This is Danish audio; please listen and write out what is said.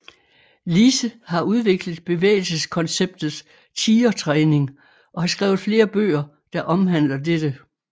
Lise har udviklet bevægelseskonceptet Tigertræning og har skrevet flere bøger der omhandler dette